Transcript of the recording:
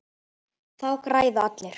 Þá græða allir.